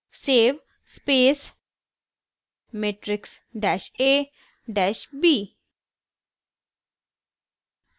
save space matrix dash a dash b